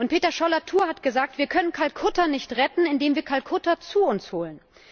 Peter Scholl Latour hat gesagt, wir können Kalkutta nicht retten, indem wir Kalkutta zu uns holen.